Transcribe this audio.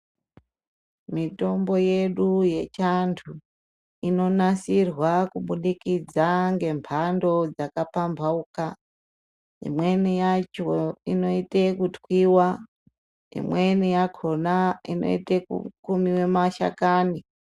Mitombo yedu yechiantu inonasirwa kubudikidza ngemhando dzakapamhauka. Imweni yacho inoite kutwiwa, imweni yakhona inoite kukumiwe mashakani.